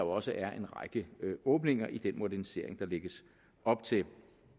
også er en række åbninger i den modernisering der lægges op til